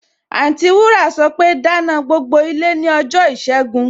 Anti wúrà sọpe, Dáná gbogbo ìdílé ní ọjọ́ ìṣẹ́gun!